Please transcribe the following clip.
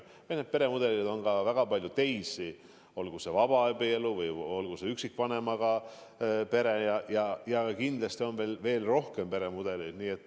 Peremudeleid on ka väga palju teisi, olgu see vabaabielu või olgu see üksikvanemaga pere, ja kindlasti on veel rohkem peremudeleid.